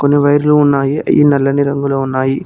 వైర్లు ఉన్నాయి ఈ నల్లని రంగులో ఉన్నాయి.